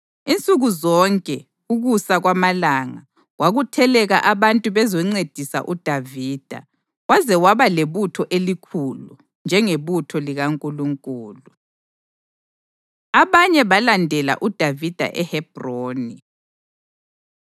Insuku zonke, ukusa kwamalanga, kwakutheleka abantu bezoncedisa uDavida, waze waba lebutho elikhulu, njengebutho likaNkulunkulu. Abanye Balandela UDavida EHebhroni